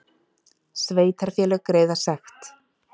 Sveitarfélög greiða sekt